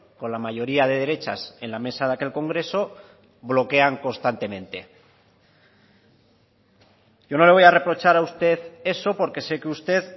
con la mayoría de derechas en la mesa de aquel congreso bloquean constantemente yo no le voy a reprochar a usted eso porque sé que usted